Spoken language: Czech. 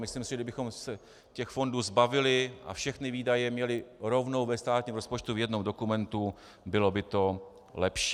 Myslím si, že kdybychom se těch fondů zbavili a všechny výdaje měli rovnou ve státním rozpočtu v jednom dokumentu, bylo by to lepší.